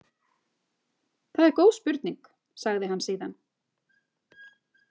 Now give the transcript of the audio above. Það er góð spurning, sagði hann síðan.